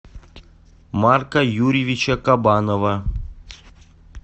марка юрьевича кабанова